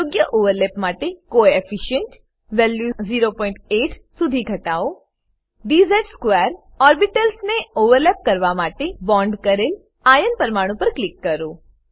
યોગ્ય ઓવરલેપ માટે coefficient coefficient value 08 સુધી ઘટવો dz2 ઓર્બિટલ્સ ને ઓવરલેપ કરવા માટે બોન્ડ કરેલ આયર્ન પરમાણુ પર ક્લીક કરો